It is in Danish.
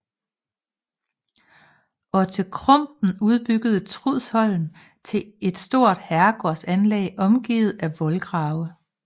Otte Krumpen udbyggede Trudsholm til et stort herregårdsanlæg omgivet af voldgrave